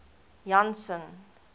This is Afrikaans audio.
janson